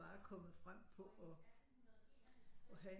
Bare kommet frem på at have